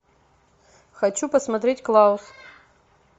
хочу посмотреть клаус